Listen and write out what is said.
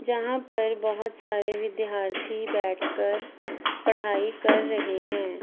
जहाँ पर बहोत सारे विद्यार्थी बैठ कर पढाई कर रहे हैं।